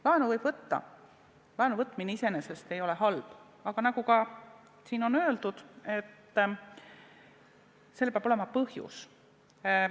Laenu võib võtta, laenuvõtmine iseenesest ei ole halb, aga nagu ka siin on öeldud, sellel peab olema põhjus.